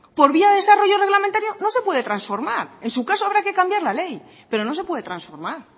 por vía de desarrollo reglamentario no se puede transformar en su caso habrá que cambiar la ley pero no se puede transformar